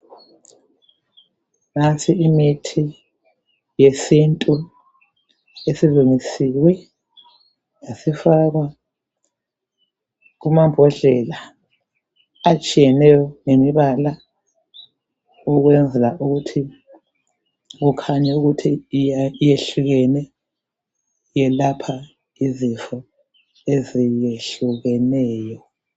Nansi imithi yesintu isilungisiwe yasifakwa kumambodlela atshiyeneyo ngemibala ukwenzela ukuthi kukhanye ukuthi iyehlukene futhi yelapha izifo eziyehlukeneyo.